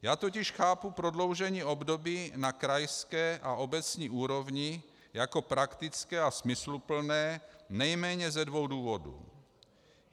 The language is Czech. Já totiž chápu prodloužení období na krajské a obecní úrovni jako praktické a smysluplné nejméně ze dvou důvodů.